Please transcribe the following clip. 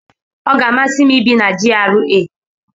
Ọ ga-amasị m ibi na GRA.